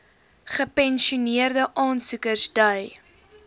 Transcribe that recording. gepensioeneerde aansoekers dui